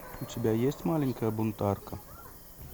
у тебя есть маленькая бунтарка